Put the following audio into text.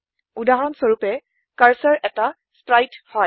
উদাহৰণ স্বৰূপে কাৰ্চৰ এটা স্প্ৰাইট হয়